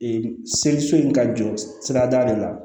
seli so in ka jɔ sirada de la